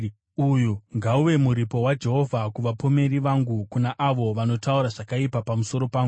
Uyu ngauve muripo waJehovha kuvapomeri vangu, kuna avo vanotaura zvakaipa pamusoro pangu.